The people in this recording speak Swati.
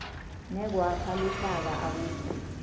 nekwakha luhlaka akukho